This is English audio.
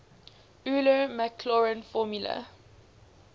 euler maclaurin formula